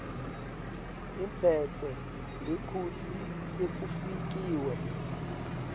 iphetse ngekutsi sekufikiwe